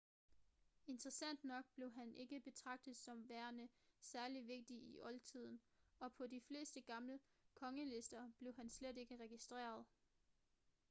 interessant nok blev han ikke betragtet som værende særligt vigtig i oldtiden og på de fleste gamle kongelister blev han slet ikke registreret